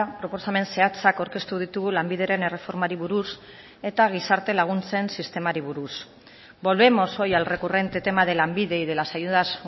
proposamen zehatzak aurkeztu ditugu lanbideren erreformari buruz eta gizarte laguntzen sistemari buruz volvemos hoy al recurrente tema de lanbide y de las ayudas